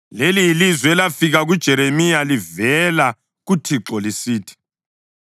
Leli yilizwi elafika kuJeremiya livela kuThixo lisithi: